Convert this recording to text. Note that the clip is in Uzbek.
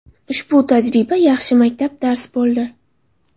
Ushbu tajriba yaxshi maktab dars bo‘ldi.